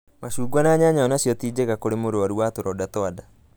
Macungwa na nyanya onacio ti njega kũrĩ mũrwaru wa tũronda twa nda